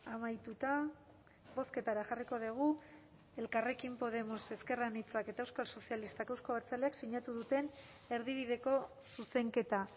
amaituta bozketara jarriko dugu elkarrekin podemos ezker anitzak eta euskal sozialistak euzko abertzaleak sinatu duten erdibideko zuzenketa